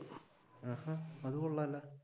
അത് കൊള്ളാല